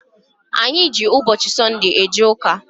Anyị ji ụbọchị Sọnde eje ụka.